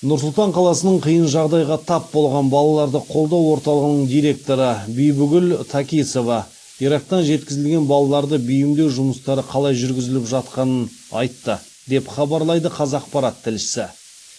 нұр сұлтан қаласының қиын жағдайға тап болған балаларды қолдау орталығының директоры бибігүл такисова ирактан жеткізілген балаларды бейімдеу жұмыстары қалай жүргізіліп жатқанын айтты деп хабарлайды қазақпарат тілшісі